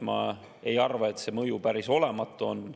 Ma ei arva, et see mõju päris olematu on.